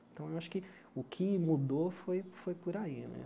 Então, eu acho que o que mudou foi foi por aí né.